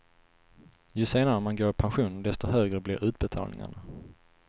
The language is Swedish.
Ju senare man går i pension, desto högre blir utbetalningarna.